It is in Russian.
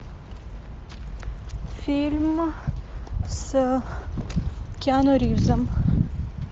фильм с киану ривзом